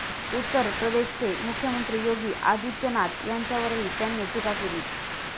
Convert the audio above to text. उत्तर प्रदेशचे मुख्यमंत्री योगी आदित्यनाथ यांच्यावरही त्यांनी टीका केली.